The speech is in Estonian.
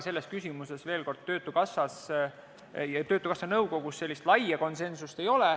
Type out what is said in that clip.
Selles küsimuses töötukassa nõukogus sellist laia konsensust ei ole.